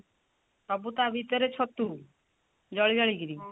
ସବୁ ତା ଭିତରେ ଛତୁ ଜଳି ଜଳିକିରି